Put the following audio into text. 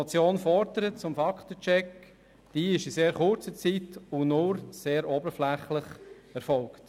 Die Überprüfung zum Fakten-Check, die die Motion fordert, ist in sehr kurzer Zeit und nur sehr oberflächlich erfolgt.